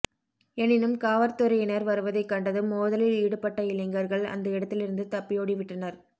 எனினும் காவற்துறையினர் வருவதைக் கண்டதும் மோதலில் ஈடுபட்ட இளைஞர்கள் அந்த இடத்திலிருந்து தப்பியோடிவிட்டனர்